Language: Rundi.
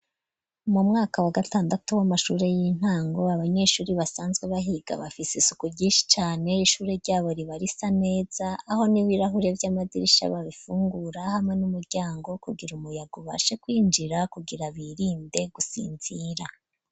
Mu mwaka wa gatandatu w'amashure y'intango abanyeshure basanzwe bahiga bafise isuku ryinshi cane, ishure ryabo riba risa neza aho n'ibirahure vy'amadirisha babifungura hamwe n'umuryango kugira umuyaga ubashe kwinjira kugira birinde gusinzira.